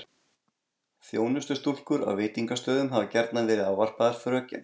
Þjónustustúlkur á veitingastöðum hafa gjarnan verið ávarpaðar fröken.